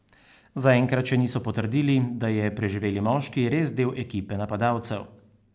Zaenkrat še niso potrdili, da je preživeli moški res del ekipe napadalcev.